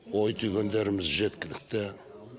ой түйгендеріміз жеткілікті